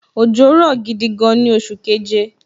Òjò rọ̀ gidi gan ni oṣù keje